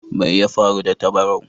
Mai ya faru da tabarau?